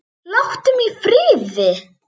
Láttu mig í friði!